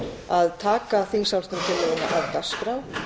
að taka þingsályktunartillöguna af dagskrá